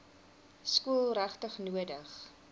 skool regtig nodig